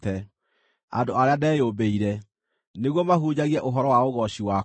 andũ arĩa ndeyũmbĩire, nĩguo mahunjagie ũhoro wa ũgooci wakwa.